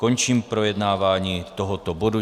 Končím projednávání tohoto bodu.